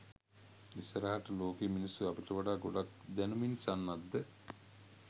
ඉස්සරහට ලෝකේ මිනිස්සු අපිට වඩා ගොඩක් දැනුමින් සන්නද්ධ